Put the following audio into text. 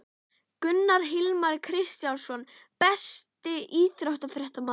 Gunnar Hilmar Kristinsson Besti íþróttafréttamaðurinn?